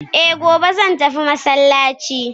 eh, gobe zan tafi masallaci